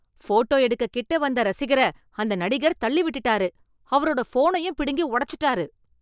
photo எடுக்க கிட்ட வந்த ரசிகர அந்த நடிகர் தள்ளி விட்டுட்டாரு, அவரோட ஃபோனையும் பிடுங்கி உடச்சுட்டாரு